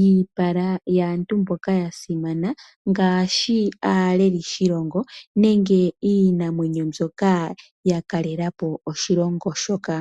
iipala yaantu mboka yasimana ngaashi aaleli shilongo nenge iinamwenyo mbyoka ya kalelalapo oshilongo shoka.